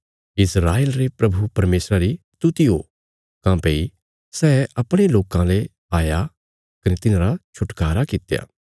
प्रभु इस्राएल रे परमेशरा री स्तुति करा काँह्भई सै अपणे लोकां री मदद करने आईरा कने तिन्हाजो बचाईरा